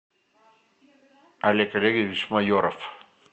олег олегович майоров